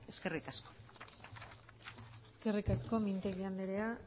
eskerrik asko eskerrik asko mintegi andrea